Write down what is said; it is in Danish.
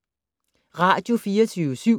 Radio24syv